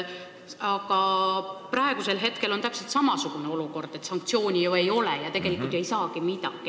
Aga praegu on täpselt samasugune olukord, et sanktsiooni ju ei ole ja tegelikult ei saagi midagi.